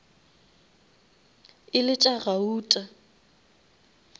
e le tša gauta